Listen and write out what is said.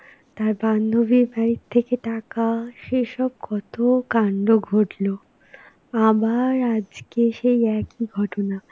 তার বান্ধবীর বাড়ির থেকে টাকা, সেসব কত কাণ্ড ঘটলো. আবার আজকে সেই একই ঘটনা.